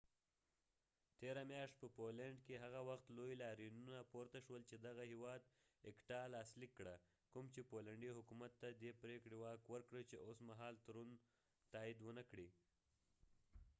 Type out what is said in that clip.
تیره میاشت په پولينډ کي هغه وخت لوي لاریونونه پورته شول چي دغه هيواد اکټا لاس ليک کړه کوم چي پولينډي حکومت ته دي پریکړه واک ورکړه چي اوس مهال تړون تايد ونکړي